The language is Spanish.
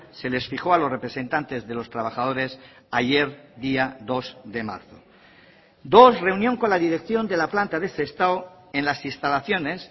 se les fijó a los representantes de los trabajadores ayer día dos de marzo dos reunión con la dirección de la planta de sestao en las instalaciones